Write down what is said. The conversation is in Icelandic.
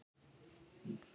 Það var flottur gripur.